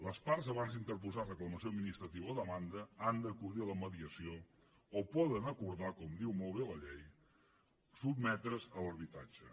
les parts abans d’interposar reclamació administrativa o demanda han d’acudir a la mediació o poden acordar com diu molt bé la llei sotmetre’s a l’arbitratge